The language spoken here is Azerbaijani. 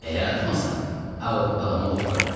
Əgər atmasan, ağ otdağını od vuraram.